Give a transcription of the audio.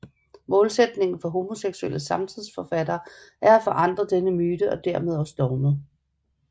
Målsætningen for homoseksuelle samtidsforfattere er at forandre denne myte og dermed også dogmet